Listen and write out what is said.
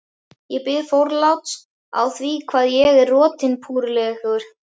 Ég bið forláts á því hvað ég er rotinpúrulegur.